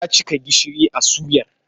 Ya cika gishiri a suyar.